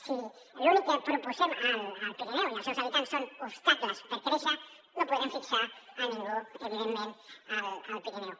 si l’únic que proposem al pirineu i als seus habitants són obstacles per créixer no podrem fixar a ningú evidentment al pirineu